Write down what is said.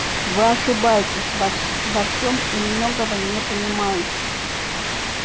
вы ошибаетесь во всё во всем и многого не понимаете